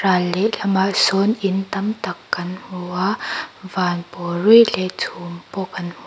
ral lehlamah sawn in tam tak kan hmu a van pawl ruih leh chhum pawh kan hmu.